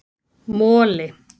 Moli